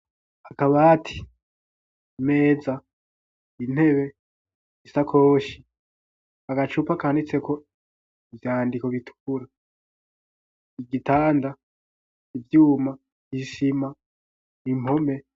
akabati, imeza, intebe, isakoshi, agacupa kanditse ko ivyandiko bitukura igitanda, ivyuma, isima, impome.